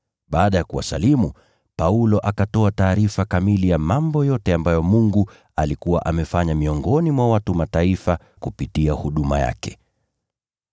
Baada ya kuwasalimu, Paulo akatoa taarifa kamili ya mambo yote ambayo Mungu alikuwa amefanya miongoni mwa watu wa Mataifa kupitia huduma yake.